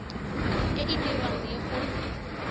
e e dirwang le go